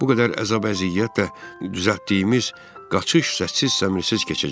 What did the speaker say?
Bu qədər əzab-əziyyət və düzəltdiyimiz qaçış səssiz-səmirsiz keçəcək.